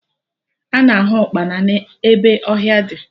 Ana ahụ ụkpana ebe ọhịa dị